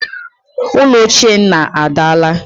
Ụlọ ochie nna adaala